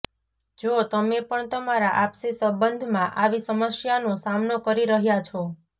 જો તમે પણ તમારા આપસી સંબંધમાં આવી સમસ્યાનો સામનો કરી રહ્યા છો